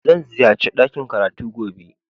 Zan ziyace dakin karatu gobe